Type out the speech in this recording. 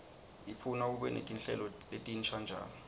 ifuna ube netinhlelo letinsha njalo